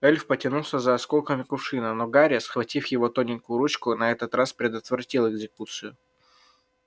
эльф потянулся за осколком кувшина но гарри схватив его тоненькую ручку на этот раз предотвратил экзекуцию